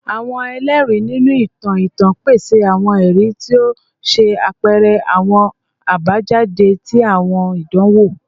Awọn ẹlẹri, ninu itan itan, pese awọn ẹri ti o ṣe apẹrẹ awọn abajade ti awọn idanwo